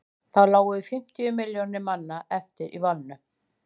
þá lágu fimmtíu milljónir manna eftir í valnum